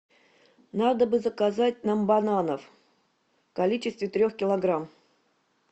надо бы заказать нам бананов в количестве трех килограмм